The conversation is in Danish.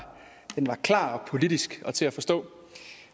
klar og politisk og til at forstå